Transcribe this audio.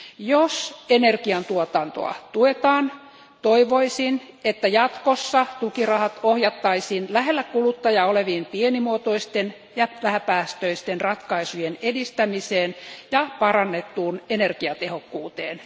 Jos energiantuotantoa tuetaan, toivoisin, että jatkossa tukirahat ohjattaisiin lähellä kuluttajaa olevien pienimuotoisten ja vähäpäästöisten ratkaisujen edistämiseen ja parannettuun energiatehokkuuteen.